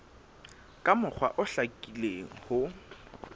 ka mokgwa o hlakileng ho